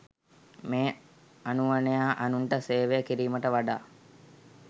මේ අනුවණයා අනුන්ට සේවය කිරීමට වඩා